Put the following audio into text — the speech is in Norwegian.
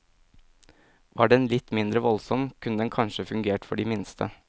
Var den litt mindre voldsom, kunne den kanskje fungert for de minste.